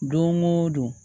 Don o don